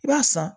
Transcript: I b'a san